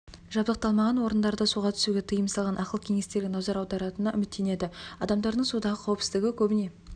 жабдықталмаған орындарда суға түсуге тыйым салған ақыл кеңестерге назар аударатынына үміттенеді адамдардың судағы қауіпсіздігі көбіне